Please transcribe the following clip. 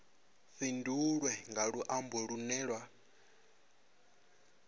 fhindulwe nga luambo lunwe na